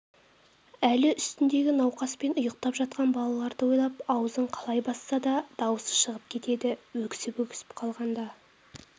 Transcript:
әлі үстіндегі науқас пен ұйықтап жатқан балаларды ойлап аузын қалай басса да дауысы шығып кетеді өксіп-өксіп қалғанда